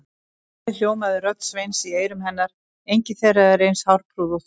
Um leið hljómaði rödd Sveins í eyrum hennar: engin þeirra er eins hárprúð og þú